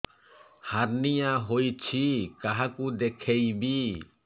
hernia ହୋଇଛି କାହାକୁ ଦେଖେଇବି